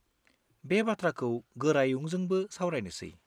बे बाथ्राखौ गोरायुंजोंबो सावरायनोसै।